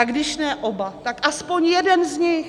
A když ne oba, tak aspoň jeden z nich.